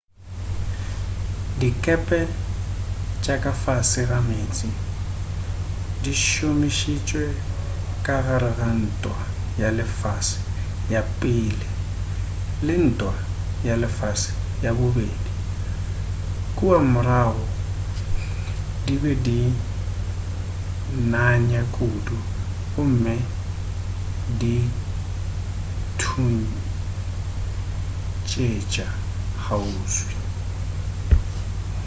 dikepe tša ka fase ga meetse di šomišitšwe ka gare ga ntwa ya lefase ya i le ntwa ya lefase ya ii kua morago di be di nanya kudu gomme di thuntšetša kgauswi